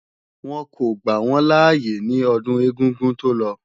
Wọ́n kò gbà wọ́n láyé ní ọdún ẹ̀gúngún tó lọ